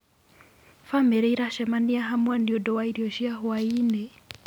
Bamĩrĩ ĩracemania hamwe nĩ ũndũ wa irio cia hwainĩ.